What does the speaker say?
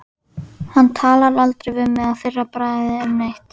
Hann talar aldrei við mig að fyrra bragði um neitt.